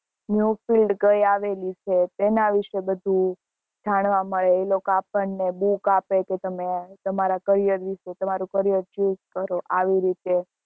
new field કઈ આવેલી છે તેના વિશે બધું જાનવા મળે એ લોકો આપને book કે તમે તમારા carrier વિશે તમારું carrier choose કરો આવી રીતે